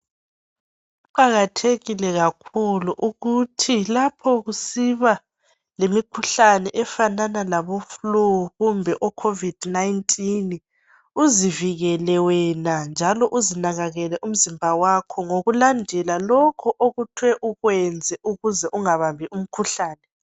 Kuqakathekile kakhulu ukuthi kusiba lemikhuhlane efanana labo flue kumbe o COVID 19 uzivikele wena njalo uzinakakele umzimba wakho ngokulandela lokho okuthwe ukwenze ukuze ungabambi umkhuhlane.